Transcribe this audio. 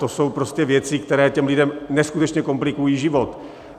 To jsou prostě věci, které těm lidem neskutečně komplikují život.